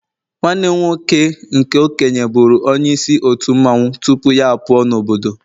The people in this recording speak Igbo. nwanne m nwoke nke okenye buru onye isi otu mmanwu tupu ya puo n' obodo